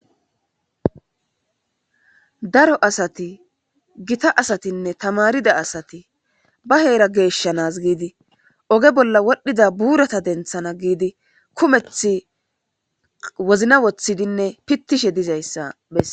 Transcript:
daro asati gita asatinne tamarida asati ba heera geeshshanas giidi oge bolla wodhdhida buurata denthana giidi kumethi wozna woththidinne pittishe dizayssa bes